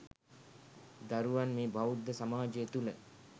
දරුවන් මේ බෞද්ධ සමාජය තුළ